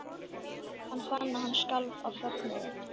Hann fann að hann skalf af fögnuði.